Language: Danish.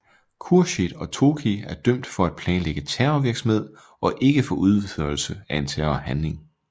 Khürshid og Tohki er dømt for at planlægge terrorvirksomhed og ikke for udførelse af en terrorhandling